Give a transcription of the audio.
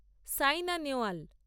Saina Nehwal